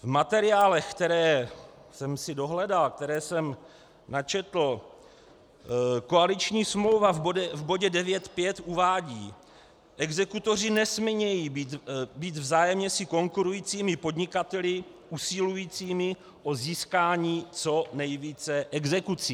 V materiálech, které jsem si dohledal, které jsem načetl, koaliční smlouva v bodě 9.5. uvádí: "Exekutoři nesmějí být vzájemně si konkurujícími podnikateli usilujícími o získání co nejvíce exekucí."